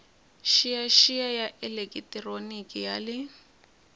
xiyaxiya ya elekitroniki ya le